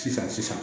Sisan